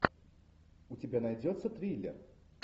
у тебя найдется триллер